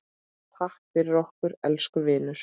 Takk fyrir okkur, elsku vinur.